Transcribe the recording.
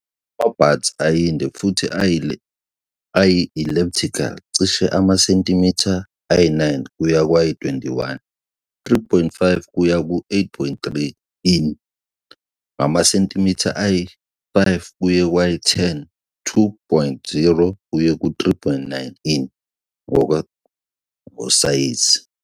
Ama-buds ayinde futhi ayi-elliptical, cishe amasentimitha ayi-9 kuya kwayi-21, 3.5 kuya ku-8.3 in, ngamasentimitha ayi-5 kuye kwayi-10, 2.0 kuye ku-3.9 in, ngosayizi.